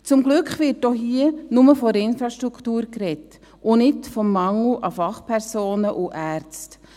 Zum Glück wird hier nur von der Infrastruktur gesprochen, und nicht vom Mangel an Fachpersonen und Ärzten.